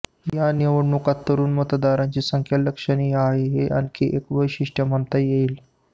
या निवडणूकीत तरुण मतदारांची संख्या लक्षणीय आहे हे आणखी एक वैशिष्ट्ये म्हणता येईल